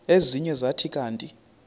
ezinye zathi kanti